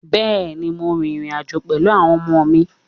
Bẹ́ẹ̀ ni, mo rin ìrìn-àjọ̀ pẹ̀lú àwọn ọmọ mi.